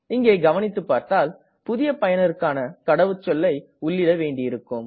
இங்கே கவனித்து பார்த்தால் புதிய பயனருக்கான கடவுச்சொல்லை உள்ளீட வேண்டியிருக்கும்